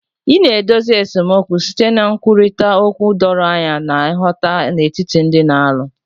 Ị na-edozi esemokwu site na nkwurịta okwu doro anya na nghọta n'etiti ndị na-alụ